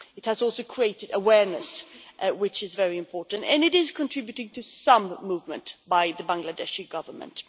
It has also created awareness, which is very important, and it is contributing to some movement by the Bangladeshi Government.